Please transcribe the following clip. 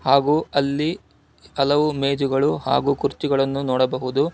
ಅವು ಅಲ್ಲಿ ಹಲವು ಮೇಜುಗಳು ಹಾಗೂ ಕುರ್ಚಿಗಳನ್ನು ನೋಡಬಹುದು.